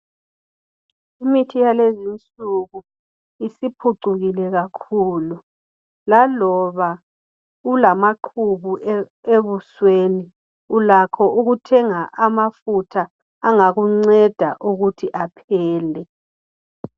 Imithi yalezinsuku isiphucukile kakhulu laloba ulamaqubu ebusweni ulakho ukuthenga amafutha angakunceda ukuthi aphele.